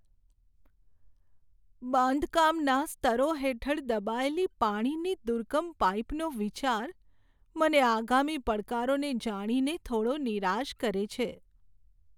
બાંધકામના સ્તરો હેઠળ દબાયેલી પાણીની દુર્ગમ પાઈપનો વિચાર મને આગામી પડકારોને જાણીને થોડો નિરાશ કરે છે.